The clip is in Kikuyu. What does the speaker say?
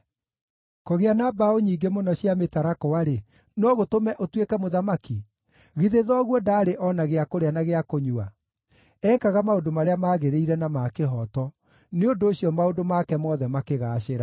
“Kũgĩa na mbaũ nyingĩ mũno cia mĩtarakwa-rĩ, no gũtũme ũtuĩke mũthamaki? Githĩ thoguo ndaarĩ o na gĩa kũrĩa na gĩa kũnyua? Ekaga maũndũ marĩa maagĩrĩire na ma kĩhooto, nĩ ũndũ ũcio maũndũ make mothe makĩgaacĩra.